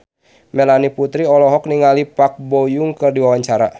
Melanie Putri olohok ningali Park Bo Yung keur diwawancara